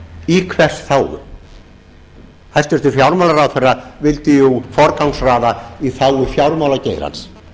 í hvers þágu hæstvirtur fjármálaráðherra vildi jú forgangsraða í þágu fjármálageirans